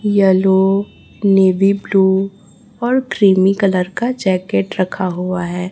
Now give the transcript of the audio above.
Yellow navy blue और creamy colour का jacket रखा हुआ है।